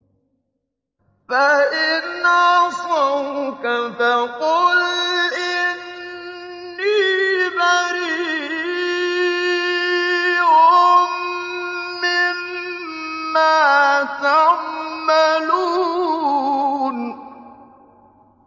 فَإِنْ عَصَوْكَ فَقُلْ إِنِّي بَرِيءٌ مِّمَّا تَعْمَلُونَ